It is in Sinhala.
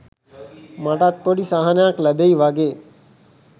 මටත් පොඩි සහනයක් ලැබෙයි වගේ